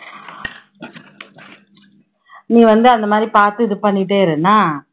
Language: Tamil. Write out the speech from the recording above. நீ வந்து பாத்து இது பண்ணிட்டே இரு என்னா.